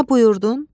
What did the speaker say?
Nə buyurdun?